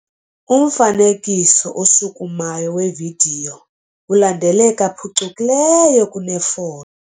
Umfanekiso oshukumayo wevidiyo ulandeleka phucukileyo kunefoto.